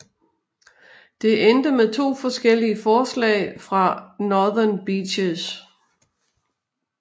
Det endte med to forskellige forslag for Northern Beaches